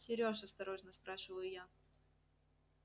серёж осторожно спрашиваю я